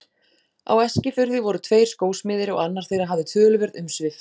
Á Eskifirði voru tveir skósmiðir og annar þeirra hafði töluverð umsvif.